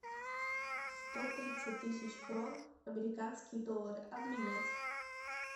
сто тридцать тысяч крон американские доллары обменять